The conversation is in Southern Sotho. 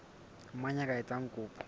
mang ya ka etsang kopo